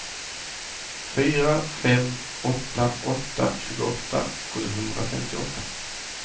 fyra fem åtta åtta tjugoåtta sjuhundrafemtioåtta